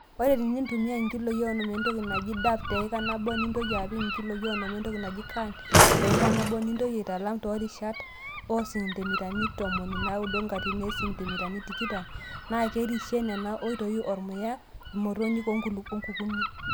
Ore tenintumia nkiloii onom entoki naji dap teika nabo nintoki apik nkiloii onom entoki naji caan teika nabo nintoki aitalam too rishata oo sentimitani ntomoni naaudo katitin isentimitani tikitam, naakerishie Nena oitoi ormuya imotonyik o nkukuni.